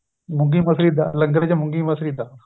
ਮੂੰਗੀ ਮਸਰੀ ਦਾਲ ਲੰਗਰ ਚ ਮੂੰਗੀ ਮਸਰੀ ਦਾਲ